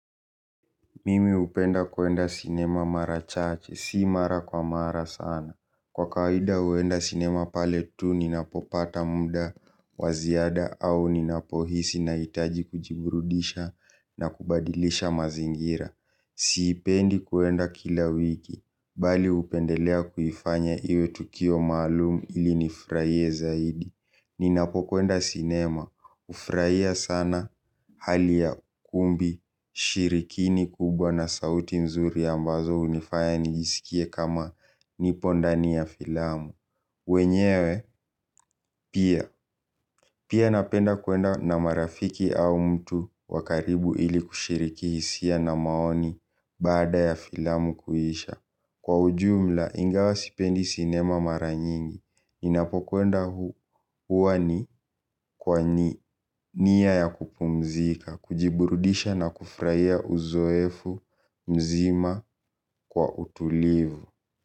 Mimi hupenda kwenda sinema mara chache si mara kwa mara sana. Kwa kawaida huenda sinema pale tu ninapopata muda waziada au ninapohisi na hitaji kujiburudisha na kubadilisha mazingira. Siipendi kwenda kila wiki, bali hupendelea kuifanya iwe tukio maalumu ili nifurahie zaidi. Ninapo kwenda sinema, hufurahia sana hali ya kumbi, shirikini kubwa na sauti mzuri ambazo hunifaya nijisikie kama nipondani ya filamu. Wenyewe, pia, pia napenda kwenda na marafiki au mtu wakaribu ili kushiriki hisia na maoni baada ya filamu kuisha. Kwa ujumla, ingawa sipendi sinema maranyingi, ninapokwenda huani kwa nia ya kupumzika, kujiburudisha na kufurahia uzoefu mzima kwa utulivu.